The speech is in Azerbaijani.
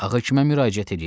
Ağa həkimə müraciət eləyək.